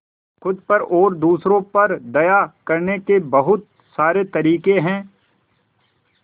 खुद पर और दूसरों पर दया करने के बहुत सारे तरीके हैं